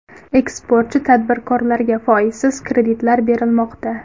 Eksportchi tadbirkorlarga foizsiz kreditlar berilmoqda.